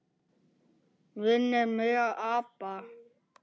Minnir mig á apa.